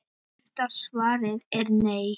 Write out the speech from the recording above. Stutta svarið er: nei.